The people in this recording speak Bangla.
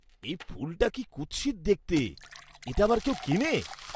এই ফুলটা কি কুৎসিত দেখতে। এটা আবার কেউ কেনে?